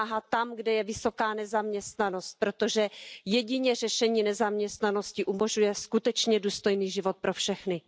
Pomáhá tam, kde je vysoká nezaměstnanost, protože jedině řešení nezaměstnanosti umožňuje skutečně důstojný život pro všechny.